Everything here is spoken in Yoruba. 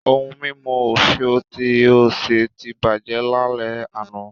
Ohun mímu òfìò tí ó ṣe ti bàjẹ́ lálẹ́ àná